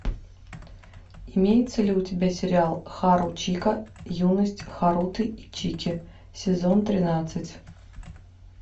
имеется ли у тебя сериал харучика юность харуты и чики сезон тринадцать